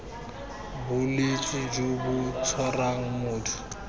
bolwetse jo bo tshwarang motho